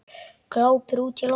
Glápir útí loftið.